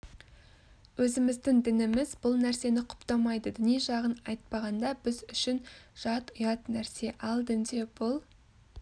өзіміздің дініміз бұл нәрсені құптамайды діни жағын айтпағанда біз үшін жат ұят нәрсе ал дінде бұл